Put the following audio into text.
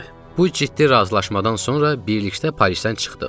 Bu ciddi razılaşmadan sonra birlikdə Parisdən çıxdıq.